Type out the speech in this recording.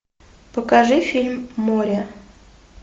покажи фильм море